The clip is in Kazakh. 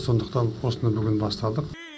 сондықтан осыны бүгін бастадық